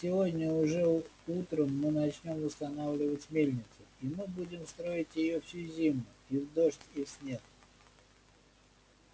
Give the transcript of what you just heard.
сегодня уже утром мы начнём восстанавливать мельницу и мы будем строить её всю зиму и в дождь и в снег